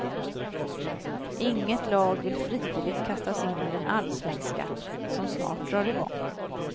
Inget lag vill frivilligt kastas in i den allsvenska, som snart drar igång.